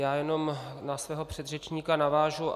Já jenom na svého předřečníka navážu.